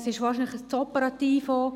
Es ist wahrscheinlich auch zu operativ.